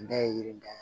N da ye yiri da ye